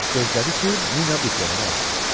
Gözlədi ki, Nina diplomunu alsın.